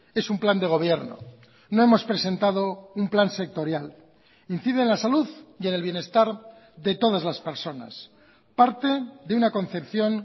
es un plan de gobierno no hemos presentado un plan sectorial incide en la salud y en el bienestar de todas las personas parte de una concepción